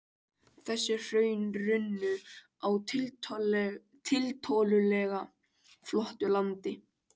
Þessi hraun runnu á tiltölulega flötu landi.